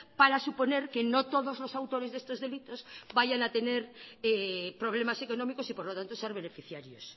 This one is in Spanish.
para suponer que no todos los autores de estos delitos vayan a tener problemas económicos y por lo tanto ser beneficiarios